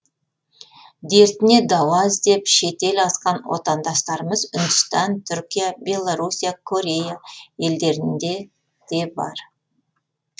дертіне дауа іздеп шетел асқан отандастарымыз үндістан түркия беларуссия корея елдерінде де бар